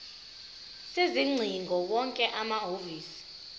sezingcingo wonke amahhovisi